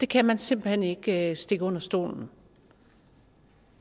kan man simpelt hen ikke stikke under stolen